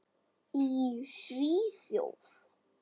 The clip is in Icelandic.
Í Svíþjóð